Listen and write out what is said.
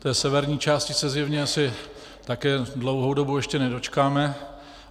Té severní části se zjevně asi také dlouhou dobu ještě nedočkáme.